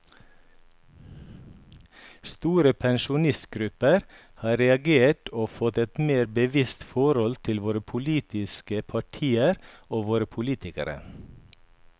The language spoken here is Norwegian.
Store pensjonistgrupper har reagert og fått et mer bevisst forhold til våre politiske partier og våre politikere.